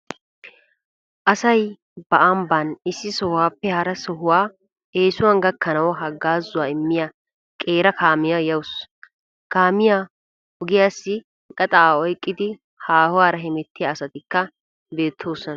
Asay ba ambban issi sohuwappe hara sohuwawu eesuwan gakkanawu haggaazuwa immiya qeera kaamiya yawusu. Kaamiya ogiyassi gaxaa oyqqidi haahuwara hemettiya asatikka beettoosona.